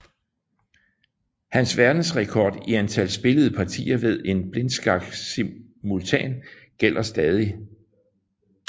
Hans verdensrekord i antal spillede partier ved en blindskaksimultan gælder stadig